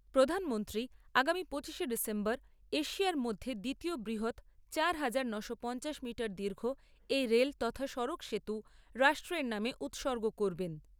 প্রধানমন্ত্রী আগামী পঁচিশে ডিসেম্বর এশিয়ার মধ্যে দ্বিতীয় বৃহৎ হাজার নয়শো পঞ্চাশ মিটার দীর্ঘ এই রেল তথা সড়ক সেতু রাষ্ট্রের নামে উৎসর্গ করবেন।